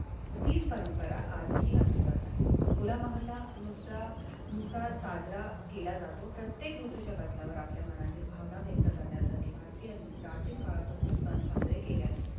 तीच परंपरा आजही असे जात आहे. खोल आम्हाला दुसरानुसार साजरा केला जातो. प्रत्येक ऋतूच्या बदलांवर आपल्या मनातील भावना व्यक्त करण्यासाठी भारतीय आणि प्राचीन काळापासून सण साजरे केले आहे.